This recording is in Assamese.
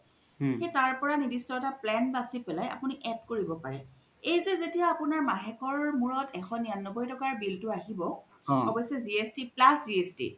সেই তাৰ পৰাই নিৰ্দিষ্ট এটা plan বাচি পেলাই add কৰিব পাৰে এই যে যেতিয়া আপুনাৰ মাহেকৰ মোৰত এশ নিৰান্নবৈ টকাৰ bill তো আহিব আৱ্যস্চে GST plus GST